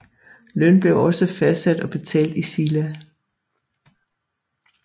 Løn blev også fastsat og betalt i sila